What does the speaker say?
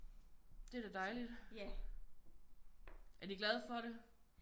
Det er da dejligt. Er de glade for det?